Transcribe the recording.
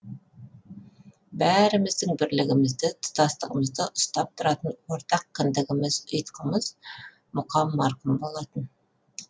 бәріміздің бірлігімізді тұтастығымызды ұстап тұратын ортақ кіндігіміз ұйытқымыз мұқан марқұм болатын